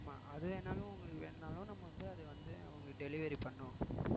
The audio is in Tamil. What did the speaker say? ஆமா அது வேணாலும் உங்களுக்கு வேணும்னாலும் நம்ம வந்து அதை வந்து அவங்களுக்கு delivery பண்ணுவோம்